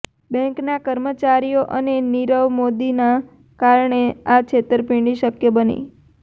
બૅન્કના કર્મચારીઓ અને નીરવ મોદીના કારણે આ છેતરપિંડી શક્ય બની